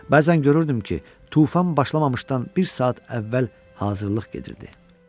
Bəzən görürdüm ki, tufan başlamamışdan bir saat əvvəl hazırlıq gedirdi.